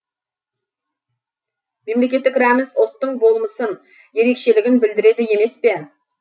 мемлекеттік рәміз ұлттың болмысын ерекшелігін білдіреді емес пе